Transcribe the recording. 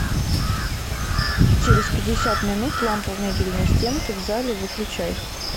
через пятьдесят минут лампа в мебельной стенке в зале выключай